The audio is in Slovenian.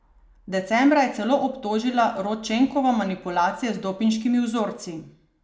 Decembra je celo obtožila Rodčenkova manipulacije z dopinškimi vzorci.